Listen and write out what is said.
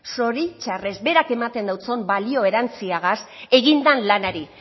zoritxarrez berak ematen deutson balio erantsiagaz egin dan lanari